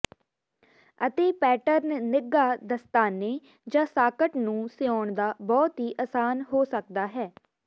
ਅਤੇ ਪੈਟਰਨ ਨਿੱਘਾ ਦਸਤਾਨੇ ਜ ਸਾਕਟ ਨੂੰ ਸਿਉਣ ਦਾ ਬਹੁਤ ਹੀ ਆਸਾਨ ਹੋ ਸਕਦਾ ਹੈ